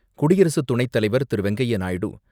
குடியரசு துணைத்தலைவர் திரு.வெங்கைய்ய நாயுடு,